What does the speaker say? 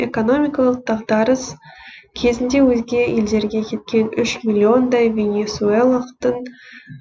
экономикалық дағдарыс кезінде өзге елдерге кеткен үш миллиондай венесуэлықтың